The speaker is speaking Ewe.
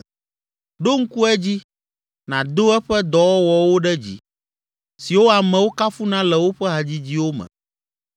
Ɖo ŋku edzi, nàdo eƒe dɔwɔwɔwo ɖe dzi, siwo amewo kafuna le woƒe hadzidziwo me.